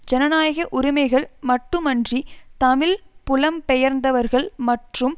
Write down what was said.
ஜனநாயக உரிமைகள் மட்டுமன்றி தமிழ் புலம்பெயர்ந்தவர்கள் மற்றும்